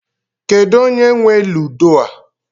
Kedụ onye nwe ludo a?